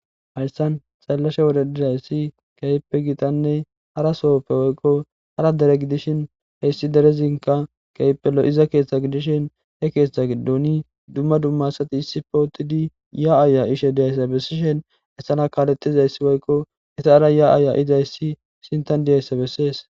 Hayssan sallashe wode dirayssi keyeppe gitanne hara sohoppe woykko hara dere gidishin heyssi derezinka keyippelo iza keeththa gidishin he keeththa giddoni dumma dumma sati issi pootidi ya7aaya ishe diyayssa bessishen essana kaalettizayssi woykko ita7ara ya7aaya izayssi sintan diyaysse bessees